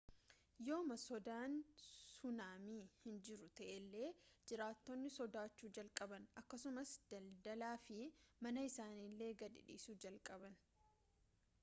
yooma sodaan sunaamii hin jiru ta'ellee jiraatotni sodaachuu jalqaban akkasumas daldalaa fi mana isaaniillee gadi dhisuu jalqaban